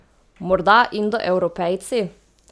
Morda Indoevropejci?